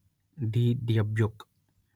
the dybbuk